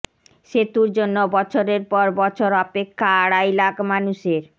সেতুর জন্য বছরের পর বছর অপেক্ষা আড়াই লাখ মানুষের